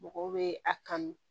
Mɔgɔw bɛ a kanu